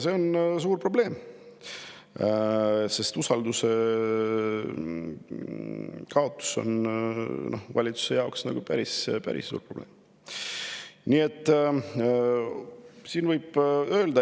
See on suur probleem, usalduse kaotus on valitsuse jaoks päris suur probleem.